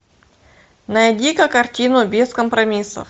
найди ка картину без компромиссов